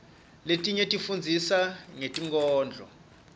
letinye tisifundzisa ngetinkhondlo